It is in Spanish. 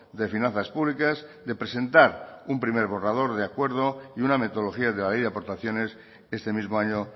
de finanzas públicas de presentar un primer borrador de acuerdo y una metodología de la ley de aportaciones este mismo año